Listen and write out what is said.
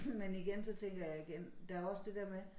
Men igen så tænker jeg igen der også det dér med